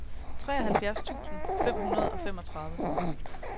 treoghalvfjerds tusind fem hundrede og femogtredive